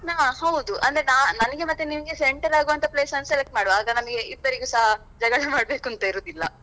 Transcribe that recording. ಹಾ ಹೌದು ಅಂದ್ರೆ ನಾ~ ನನ್ಗೆ ಮತ್ತೆ ನಿಮ್ಗೆ center ಆಗುವಂತ place ಅನ್ನು select ಮಾಡುವ ಹಾಗೆ ನಮಗೆ ಇಬ್ಬರಿಗೆಸ ಜಗಳ ಮಾಡ್ಬೇಕಂತ ಇರುದಿಲ್ಲಾ.